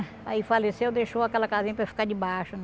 Aí faleceu, deixou aquela casinha para ficar debaixo, né?